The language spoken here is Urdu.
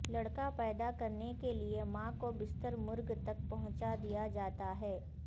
لڑکا پیدا کرنے کے لئے ماں کو بستر مرگ تک پہنچا دیا جاتا ہے